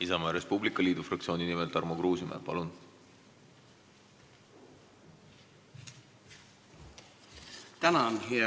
Isamaa ja Res Publica Liidu fraktsiooni nimel Tarmo Kruusimäe, palun!